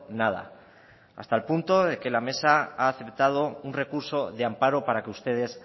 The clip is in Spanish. nada hasta el punto de que la mesa ha aceptado un recurso de amparo para que ustedes